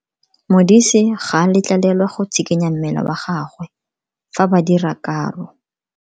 Modise ga a letlelelwa go tshikinya mmele wa gagwe fa ba dira karo.